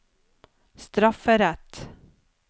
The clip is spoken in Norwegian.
strafferett